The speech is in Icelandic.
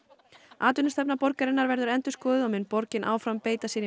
atvinnustefna borgarinnar verður endurskoðuð og mun borgin áfram beita sér í